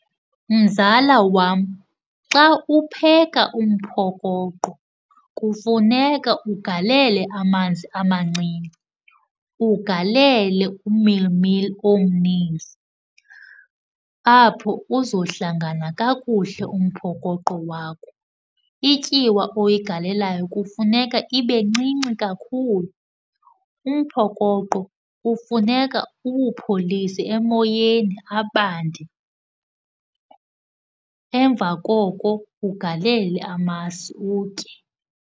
Mzala wam, xa upheka umphokoqo kufuneka ugalele amanzi amancinci, ugalele umilimili omninzi. Apho uzohlangana kakuhle umphokoqo wakho. Ityiwa oyigalelayo kufuneka ibe ncinci kakhulu. Umphokoqo kufuneka uwupholise emoyeni abande, emva koko ugalele amasi utye.